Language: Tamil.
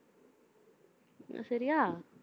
அஹ் சரியா?